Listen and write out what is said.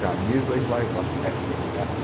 Camisa e vai-vai.